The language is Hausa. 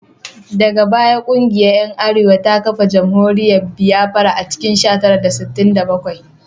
Daga baya kungiyar ‘yan aware ta kafa jamhuriyar Biafra a cikin sha tara da sittin da bakwai